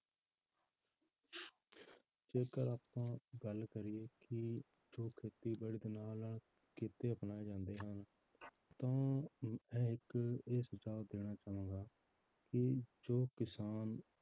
ਜੇਕਰ ਆਪਾਂ ਗੱਲ ਕਰੀਏ ਕਿ ਜੋ ਖੇਤੀਬਾੜੀ ਦੇ ਨਾਲ ਨਾਲ ਕਿਤੇ ਅਪਣਾਏ ਜਾਂਦੇ ਹਨ ਤਾਂ ਮੈਂ ਇੱਕ ਇਹ ਸੁਝਾਵ ਦੇਣਾ ਚਾਹਾਂਗਾ ਕਿ ਜੋ ਕਿਸਾਨ